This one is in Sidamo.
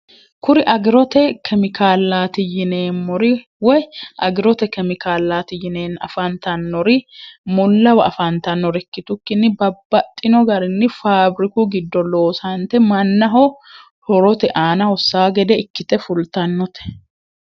kuri agirote kemikaalaati yineemmori woy agirote kemikaalaati yineen afantannori mullawa afaantannorikkitukkinni babbaxxino garinni faabiriku giddo loosante mannaho horote aanahosaa gede ikkite fultannote